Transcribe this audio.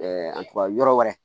an tubabu yɔrɔ wɛrɛ